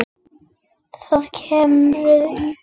Það kumraði í honum.